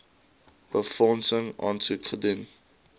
befondsing aansoek doen